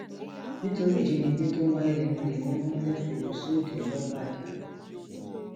nítorí ìjínigbé tó ń wáyé lemọlemọ wọn fẹẹ fọrọ sóde lọbàdà